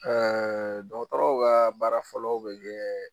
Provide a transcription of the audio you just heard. dɔgɔtɔrɔw ka baara fɔlɔ bɛ kɛ